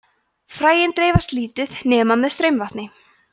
fræin dreifast lítið nema með straumvatni